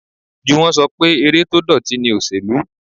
Juwon ṣọ pé eré tó dọ̀tí ni òsèlú.